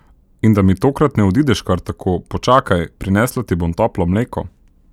In da mi tokrat ne odideš kar tako, počakaj, prinesla ti bom toplo mleko.